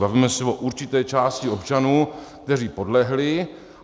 Bavíme se o určité části občanů, kteří podlehli.